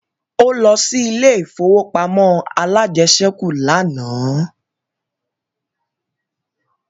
Ó lọ sí ilé ìfowópamọ́ alájẹsẹ́kù lánàá